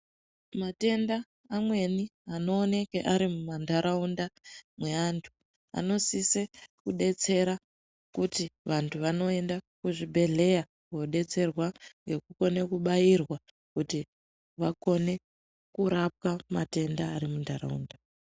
Matenda amweni anooneke ari mumandaraunda mweantu anosisa kudetsera kuti vantu vanoenda kuzvibhehleya kunodetserwa ngekukona bairwa kuti vakone kurapwa matenda ari mundaraunda.